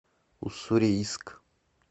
уссурийск